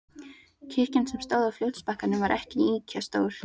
Kirkjan, sem stóð á fljótsbakkanum, var ekki ýkja stór.